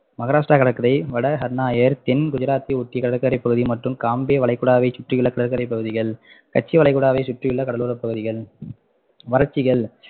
மகாராஷ்டிரா கடற்கரை வடஹன்நாயர் தென் குஜராத்தை ஒட்டி கடற்கரை பகுதி மற்றும் காம்தேவ் வளைகுடாவைச்சுற்றி உள்ள கடற்கரை பகுதிகள் ஹட்ச் வளைகுடாவை சுற்றி உள்ள கடலோர பகுதிகள் வறட்சிகள்